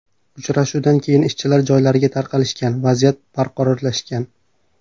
Uchrashuvdan keyin ishchilar joylariga tarqalishgan, vaziyat barqarorlashgan.